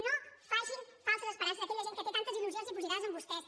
no facin falses esperances a aquella gent que té tantes il·lusions dipositades en vostès